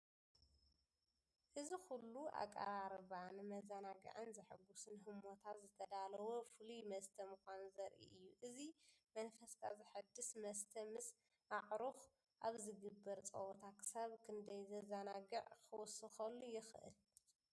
እዚ ኩሉ ኣቀራርባ ንመዘናግዕን ዘሐጉስን ህሞታት ዝተዳለወ ፍሉይ መስተ ምዃኑ ዘርኢ እዩ። እዚ መንፈስካ ዘሐድስ መስተ ምስ ኣዕሩኽ ኣብ ዝግበር ጸወታ ክሳብ ክንደይ ዘዘናግዕ ክውስኸሉ ይኽእል?